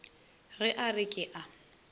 ge a re ke a